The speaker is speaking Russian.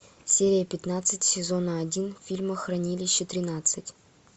серия пятнадцать сезона один фильма хранилище тринадцать